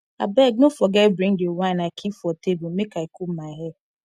abeg no forget bring the wine i keep for table make i comb my hair